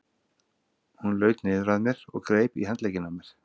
Hún laut niður að mér og greip í handlegginn á mér.